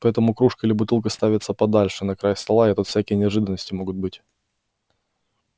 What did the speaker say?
поэтому кружка или бутылка ставится подальше на край стола и тут всякие неожиданности могут быть